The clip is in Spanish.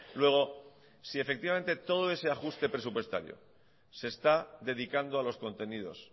luego si efectivamente todo ese ajuste presupuestario se está dedicando a los contenidos